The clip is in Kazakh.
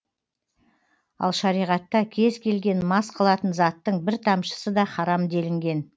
ал шариғатта кез келген мас қылатын заттың бір тамшысы да харам делінген